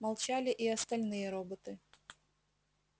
молчали и остальные роботы